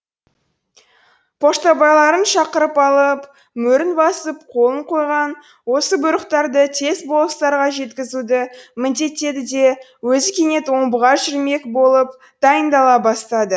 поштабайларын шақырып алып мөрін басып қолын қойған осы бұйрықтарды тез болыстарға жеткізуді міндеттеді де өзі кенет омбыға жүрмек болып дайындала бастады